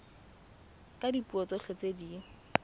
ka dipuo tsotlhe tse di